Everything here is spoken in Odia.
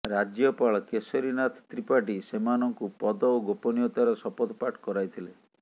ରାଜ୍ୟପାଳ କେଶରୀନାଥ ତ୍ରିପାଠୀ ସେମାନଙ୍କୁ ପଦ ଓ ଗୋପନୀୟତାର ଶପଥ ପାଠ କରାଇଥିଲେ